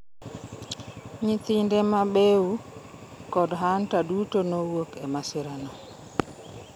Nyithinde ma Beau kod Hunter duto nowuok e masirano.